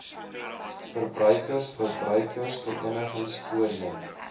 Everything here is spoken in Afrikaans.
verbruikers verbruikersverenigings voorheen